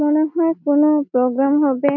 মনে হয় কোন প্রোগ্রাম হবে-এ |